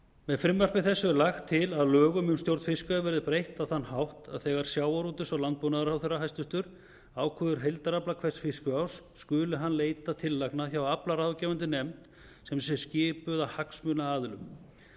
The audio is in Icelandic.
með frumvarpi þessu er lagt til að lögum um stjórn fiskveiða verði breytt á þann hátt að þegar hæstvirtur sjávarútvegs og landbúnaðarráðherra ákveður heildarafla hvers fiskveiðiárs skuli hann leita tillagna hjá aflaráðgefandi nefnd sem sé skipuð af hagsmunaaðilum